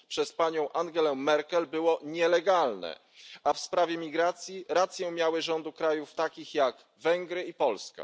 przez panią Angelę Merkel było nielegalne, a w sprawie migracji rację miały rządy krajów, takich jak Węgry i Polska.